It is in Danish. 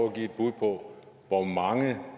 at give et bud på hvor mange